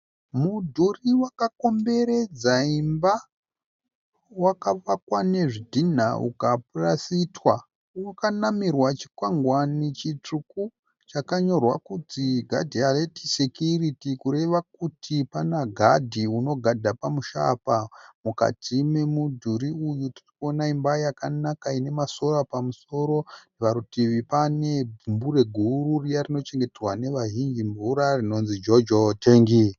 Mudhuri wakakomberedza imba. Wakavakwa nezvidhinha ukapurasitwa. Wakanamirwa chikwangwani chitsvuku chakanyorwa kunzi "Guard Alert Security" kureva kuti pana gadhi unogadha pamusha apa. Mukati momudhuri uyu tiri kuona imba yakanaka ine ma"solar" pamusoro. Parutivi pane gumbure guru riya rinochengeterwa navazhinji mvura rinonzi jojo tengi.